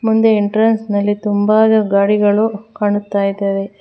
ಮುಂದೆ ಎಂಟ್ರೆನ್ಸ್ ನಲ್ಲಿ ತುಂಬಾನೇ ಗಾಡಿಗಳು ಕಾಣ್ತಾ ಇದ್ದಾವೆ.